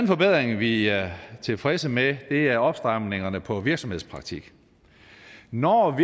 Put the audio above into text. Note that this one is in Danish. forbedring vi er tilfredse med er opstramningerne på virksomhedspraktik når